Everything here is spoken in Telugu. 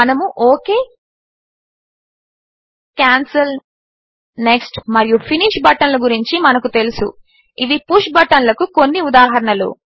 మనము ఒక్ కాన్సెల్ నెక్స్ట్ మరియు ఫినిష్ బటన్ల గురించి మనకు తెలుసు ఇవి పుష్ బటన్లకు కొన్ని ఉదాహరణలు